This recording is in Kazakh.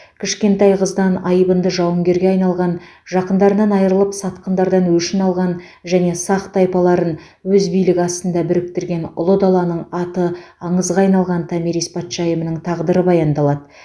кішкентай қыздан айбынды жауынгерге айналған жақындарынан айрылып сатқындардан өшін алған және сақ тайпаларын өз билігі астында біріктірген ұлы даланың аты аңызға айналған томирис патшайымының тағдыры баяндалады